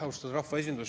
Austatud rahvaesindus!